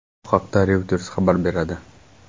Bu haqda Reuters xabar beradi.